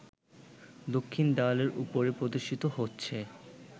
দক্ষিণ দেয়ালের উপরে প্রদর্শিত হচ্ছে